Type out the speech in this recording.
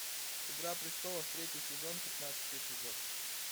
игра престолов третий сезон пятнадцатый эпизод